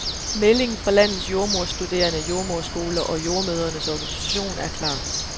Meldingen fra landets jordemoderstuderende, jordemoderskoler og jordemødrenes organisation er klar.